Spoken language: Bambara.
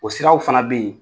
O siraw fana bɛ ye.